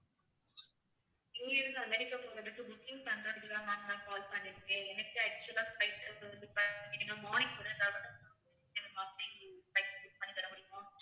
US தான் அமெரிக்கா போறதுக்கு booking பண்றதுக்கு தான் ma'am நான் call பண்ணிருக்கேன் எனக்கு actual ஆ flight book பண்ணி தர முடியுமா?